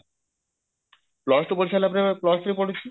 plus two ପଢିସାରିଲା ପରେ plus three ପଢୁଛି